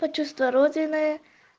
то чувство родины